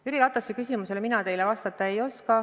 Jüri Ratast puudutavale küsimusele mina teile vastata ei oska.